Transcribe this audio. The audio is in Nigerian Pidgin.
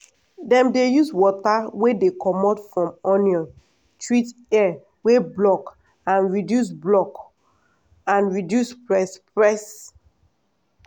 dem dey use water wey dey comot from onion treat ear wey block and reduce block and reduce press press.